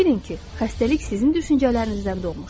Bilin ki, xəstəlik sizin düşüncələrinizdən doğmuşdu.